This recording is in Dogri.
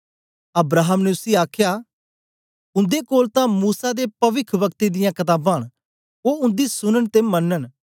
अब्राहम ने उसी आखया उन्दे कोल तां मूसा ते पविखवक्तें दियां कताबां न ओ उन्दी सुनन ते मनन